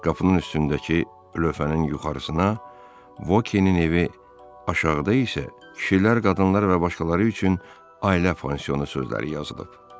Qapının üstündəki lövhənin yuxarısına Vokinin evi, aşağıda isə kişilər, qadınlar və başqaları üçün ailə pansiyonu sözləri yazılıb.